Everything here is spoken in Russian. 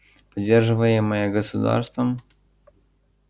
поддерживаемое государством